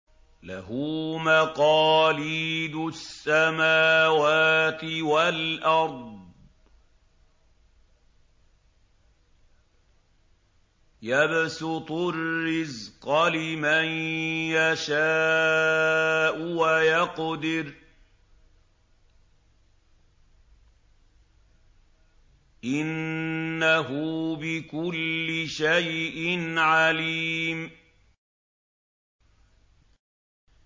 لَهُ مَقَالِيدُ السَّمَاوَاتِ وَالْأَرْضِ ۖ يَبْسُطُ الرِّزْقَ لِمَن يَشَاءُ وَيَقْدِرُ ۚ إِنَّهُ بِكُلِّ شَيْءٍ عَلِيمٌ